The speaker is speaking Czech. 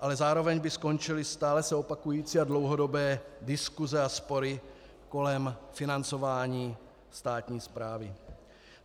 ale zároveň by skončily stále se opakující a dlouhodobé diskuse a spory kolem financování státní správy.